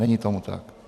Není tomu tak.